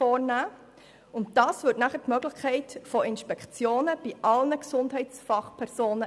Dies böte dann die Möglichkeit von Inspektionen bei sämtlichen Gesundheitsfachpersonen.